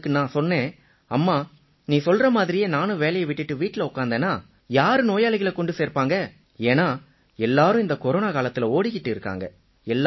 அதுக்கு நான் சொன்னேன் அம்மா நீ சொல்றா மாதிரியே நானும் வேலையை விட்டுட்டு வீட்டில உட்கார்ந்தேன்னா யாரு நோயாளிகளை கொண்டு சேர்ப்பாங்க ஏன்னா எல்லாரும் இந்தக் கொரோனா காலத்தில ஓடிக்கிட்டு இருக்காங்க